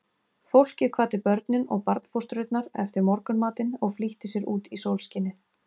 Fólkið kvaddi börnin og barnfóstrurnar eftir morgunmatinn og flýtti sér út í sólskinið.